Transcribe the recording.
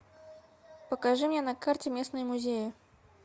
покажи мне на карте местные музеи